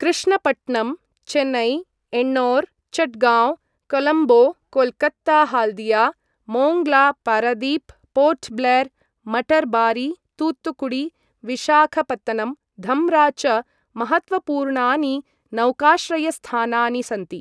कृष्णपट्णम्, चेन्नै, एण्णओर्, चटगाव्ँ, कोलंबो, कोल्कत्ता हाल्दिया, मोङ्ग्ला, पारादीप, पोर्ट् ब्लेर्, मटरबारी, तूतुकुडी, विशाखपत्तनम्, धम्रा च महत्त्वपूर्णानि नौकाश्रयस्थानानि सन्ति।